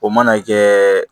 O mana kɛ